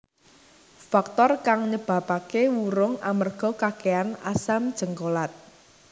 Faktor kang nyebabaké wurung amerga kakèhan asam jéngkolat